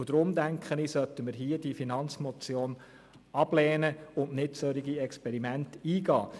Ich denke, wir sollten deshalb die Finanzmotion ablehnen und nicht solche Experimente machen.